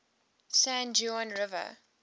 san juan river